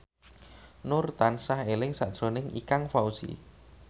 Nur tansah eling sakjroning Ikang Fawzi